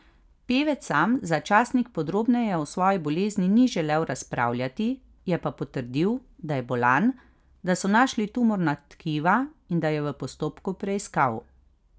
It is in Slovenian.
Pevec sam za časnik podrobneje o svoji bolezni ni želel razpravljati, je pa potrdil, da je bolan, da so našli tumorna tkiva in da je v postopku preiskav.